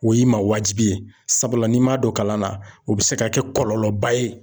O y'i ma wajibi ye, sabula n'i m'a don kalan na, o bɛ se ka kɛ kɔlɔlɔ ba ye.